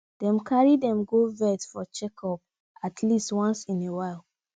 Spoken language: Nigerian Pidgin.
dey carry dem go vet for checkup at least once in while